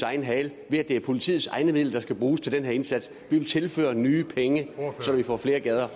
egen hale ved at det er politiets egne midler der skal bruges til den her indsats vi vil tilføre nye penge så vi får flere